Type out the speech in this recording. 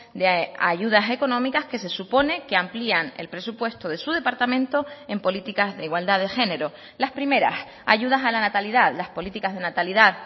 de ayudas económicas que se supone que amplían el presupuesto de su departamento en políticas de igualdad de género las primeras ayudas a la natalidad las políticas de natalidad